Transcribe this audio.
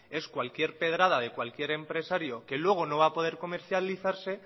es cualquier pedrada de cualquier empresario que luego no va a poder comercializarse